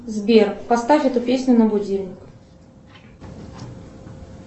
сбер поставь эту песню на будильник